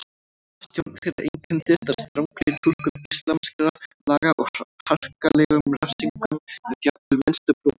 Stjórn þeirra einkenndist af strangri túlkun íslamskra laga og harkalegum refsingum við jafnvel minnstu brotum.